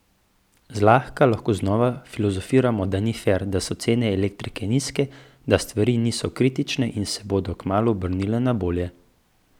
Zlahka lahko znova filozofiramo, da ni fer, da so cene elektrike nizke, da stvari niso kritične in se bodo kmalu obrnile na bolje.